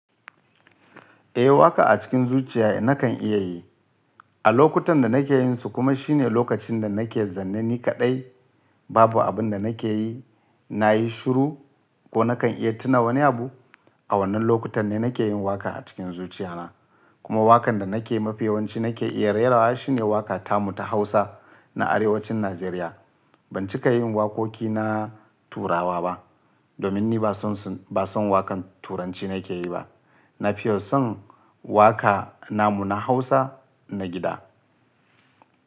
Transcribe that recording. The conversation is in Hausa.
Eh, waƙa a cikin zuciya nakan iya yi. A lokutan da nake yin su kuma shine lokacin da nake zanne ni kaɗai babu abin da nake yi, na yi shiru ko nakan iya tuna wani abu. A wannan lokutan ne nake yin waƙa a cikin zuciya na. Kuma waƙan da nake mafiyawanci nake iya rera wa shine waƙa tamu ta Hausa na Arewacin Nijeriya. Ban cika yin waƙoƙi na Turawa ba domin ni ba san waƙan Turanci nake yi ba. Na fi son waƙa namu na Hausa na gida.